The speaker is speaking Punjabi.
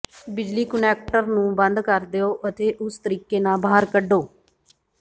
ਬਿਜਲੀ ਕੁਨੈਕਟਰ ਨੂੰ ਬੰਦ ਕਰ ਦਿਓ ਅਤੇ ਉਸ ਤਰੀਕੇ ਨਾਲ ਬਾਹਰ ਕੱਢੋ